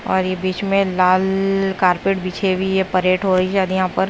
और ये बीच में लाल कार्पेट बिछे हुए परेट हो रही शायद यहां पर।